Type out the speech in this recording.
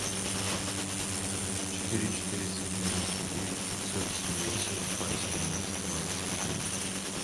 четыре четыреста девяносто девять пятьсот семьдесят два семнадцать двадцать девять